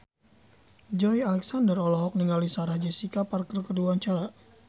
Joey Alexander olohok ningali Sarah Jessica Parker keur diwawancara